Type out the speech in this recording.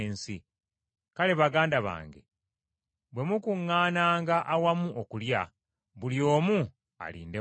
Kale baganda bange, bwe mukuŋŋaananga awamu okulya, buli omu alinde munne.